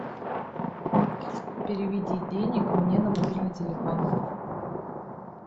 переведи денег мне на мобильный телефон